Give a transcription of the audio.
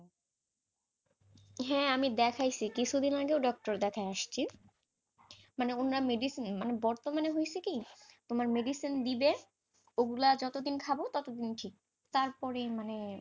হ্যাঁ আমি দেখাইছি কিছুদিন আগে doctor দেখাই আসছি, মানে অন্যান্য medicine বর্তমানে হয়ছে কি তোমার medicine দিবে, ওগুলা যতদিন খাব, ততদিন ঠিক, তারপরেই মানে,